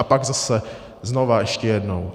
A pak zase znova ještě jednou.